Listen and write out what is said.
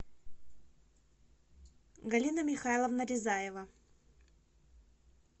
галина михайловна рязаева